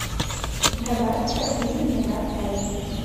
добавь в корзину виноград тайфи